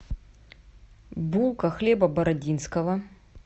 булка хлеба бородинского